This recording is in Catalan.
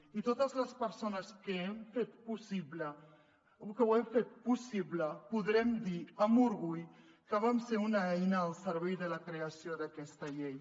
i totes les persones que ho hem fet possible podrem dir amb orgull que vam ser una eina al servei de la creació d’aquesta llei